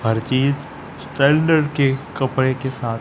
हर चीज स्टैंडर्ड के कपड़े के साथ--